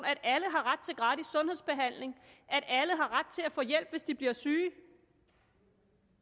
har ret til gratis sundhedsbehandling at alle har ret til at få hjælp hvis de bliver syge